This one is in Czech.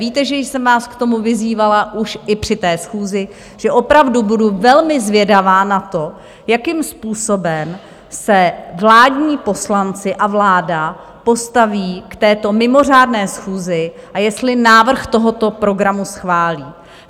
Víte, že jsem vás k tomu vyzývala už i při té schůzi, že opravdu budu velmi zvědavá na to, jakým způsobem se vládní poslanci a vláda postaví k této mimořádné schůzi a jestli návrh tohoto programu schválí.